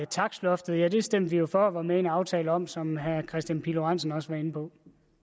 takstloftet ja det stemte vi jo for og var med i en aftale om som herre kristian pihl lorentzen også var inde på